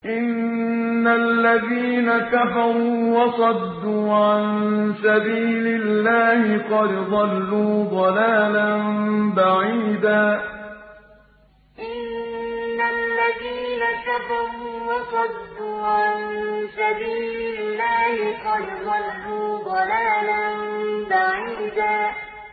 إِنَّ الَّذِينَ كَفَرُوا وَصَدُّوا عَن سَبِيلِ اللَّهِ قَدْ ضَلُّوا ضَلَالًا بَعِيدًا إِنَّ الَّذِينَ كَفَرُوا وَصَدُّوا عَن سَبِيلِ اللَّهِ قَدْ ضَلُّوا ضَلَالًا بَعِيدًا